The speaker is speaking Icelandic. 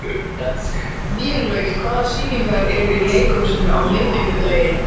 Vélaug, hvaða sýningar eru í leikhúsinu á miðvikudaginn?